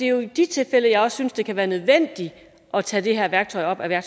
jo i de tilfælde jeg synes det kan være nødvendigt at tage det her værktøj op af